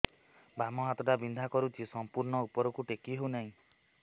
ବାମ ହାତ ଟା ବିନ୍ଧା କରୁଛି ସମ୍ପୂର୍ଣ ଉପରକୁ ଟେକି ହୋଉନାହିଁ